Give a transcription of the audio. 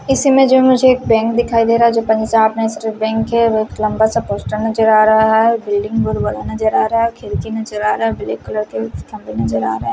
इस इमेज में मुझे जो बैंक दिखाई दे रहा जो पंजाब नेशनल बैंक है बहोत लम्बा सा पोस्टर नजर आ रहा है बिल्डिंग बहुत बड़ा नजर आ रहा है खिड़की भी नजर आ रहा है और ब्लैक कलर के नजर आ रहे है।